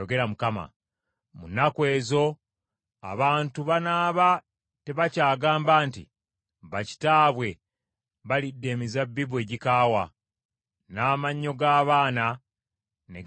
“Mu nnaku ezo abantu banaaba tebakyagamba nti, “ ‘Bakitaabwe balidde emizabbibu egikaawa , n’amannyo g’abaana ne ganyenyeera.’ ”